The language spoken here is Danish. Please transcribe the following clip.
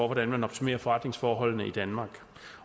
hvordan man optimerer forretningsforholdene i danmark